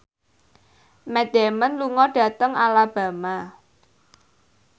Matt Damon lunga dhateng Alabama